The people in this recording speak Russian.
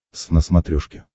твз на смотрешке